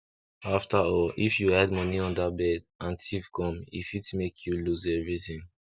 after all if you hide moni under bed and thief come e fit make you lose everything